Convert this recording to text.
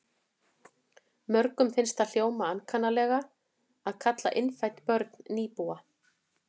Mörgum finnst það hljóma ankannalega að kalla innfædd börn nýbúa.